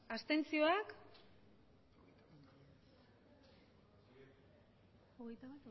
abstenzioak emandako